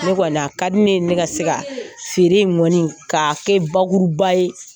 Ne kɔni a ka di ne ye ne ka se ka feere kɔni k'a kɛ bakuruba ye